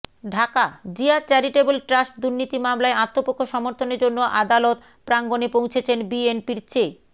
Dhaka Zia charitable trust দুর্নীতি মামলায় আত্মপক্ষ সমর্থনের জন্য আদালত প্রাঙ্গণে পৌঁছেছেন বিএনপির চে